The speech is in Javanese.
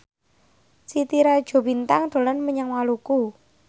Titi Rajo Bintang dolan menyang Maluku